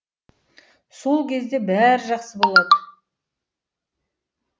сол кезде бәрі жақсы болады